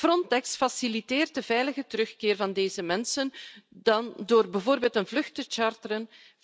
Frontex faciliteert de veilige terugkeer van deze mensen dan door bijvoorbeeld een vlucht te charteren.